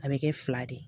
A bɛ kɛ fila de ye